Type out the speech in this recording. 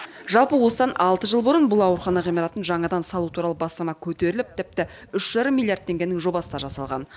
жалпы осыдан алты жыл бұрын бұл аурухана ғимаратын жаңадан салу туралы бастама көтеріліп тіпті үш жарым миллиард теңгенің жобасы да жасалған